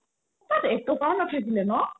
তাত এক টকাও নাথাকিলে ন